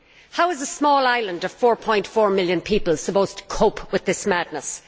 How is a small island of 4.4 million people supposed to cope with this madness?